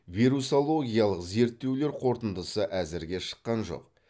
вирусологиялық зерттеулер қорытындысы әзірге шыққан жоқ